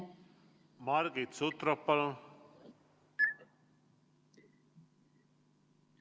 Margit Sutrop, palun!